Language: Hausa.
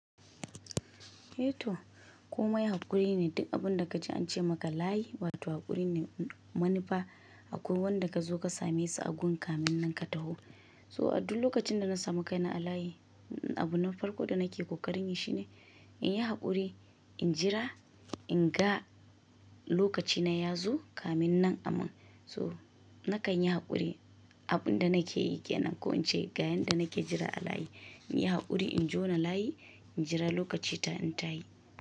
Eh to komai haƙuri ne, duk abin da kaji an ce maka layi wato haƙuri ne manufa akwai wanda ka zo ka same su a gun kamen nan ka taho. So a duk lokacin da na samu kai na a layi, abu na farko da nake kokarin yi shine in yi haƙuri, in jira, in ga lokaci na ya zo kamin nan aman. So nakan yi haƙuri, abin da nake yi kenan ko in ce ga yenda nake jira a layi, in yi haƙuri in jona layi, in jira lokaci ta in tayi.